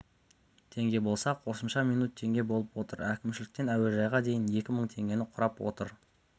теңге болса қосымша минут теңге болып отыр әкімшіліктен әуежайға дейін екі мың теңгені құрап отыр